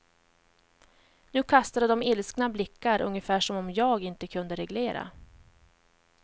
Nu kastade de ilskna blickar, ungefär som om j a g inte kunde reglerna.